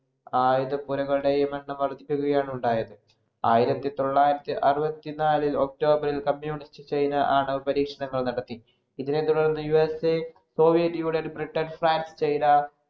ആയുധപൂരങ്ങളുടെയും എണ്ണം വർധിക്കുകയാണ് ഉണ്ടായത്. ആയിരത്തി തൊള്ളായിരത്തി അറുപത്തിനാലില്‍ october ഇല്‍ communist ചൈന ആണവപരീക്ഷണങ്ങൾ നടത്തി. ഇതിനെ തുടർന്ന് USA Soviet Union, Britain, France, China,